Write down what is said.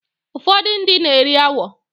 Ụfọdụ ndị na-eri agwọ